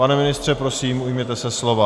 Pane ministře, prosím, ujměte se slova.